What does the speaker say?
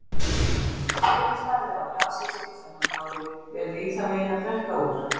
Alli starði á glasið sitt sem hann hafði verið í þann veginn að drekka úr.